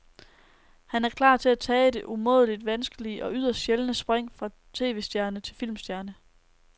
Han er klar til at tage det umådeligt vanskelige og yderst sjældne spring fra tvstjerne til filmstjerne.